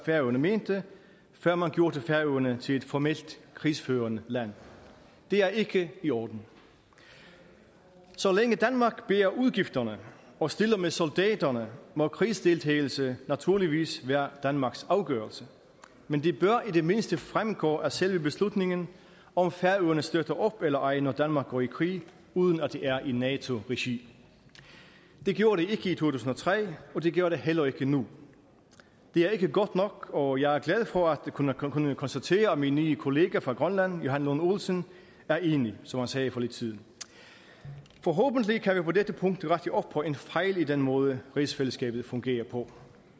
færøerne mente før man gjorde færøerne til et formelt krigsførende land det er ikke i orden så længe danmark bærer udgifterne og stiller med soldaterne må krigsdeltagelse naturligvis være danmarks afgørelse men det bør i det mindste fremgå af selve beslutningen om færøerne støtter op eller ej når danmark går i krig uden at det er i nato regi det gjorde det ikke i to tusind og tre og det gjorde det heller ikke nu det er ikke godt nok og jeg er glad for at kunne kunne konstatere at min nye kollega fra grønland herre johan lund olsen er enig som han sagde for lidt siden forhåbentlig kan vi på dette punkt rette op på en fejl i den måde rigsfællesskabet fungerer på